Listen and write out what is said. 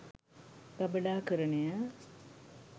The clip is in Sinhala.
ගබඩාකරණය